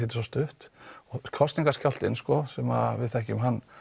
er svo stutt og kosningaskjálftinn sem við þekkjum hann